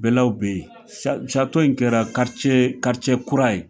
Bɛɛlaw be yen sa sato in kɛra karice karice kura ye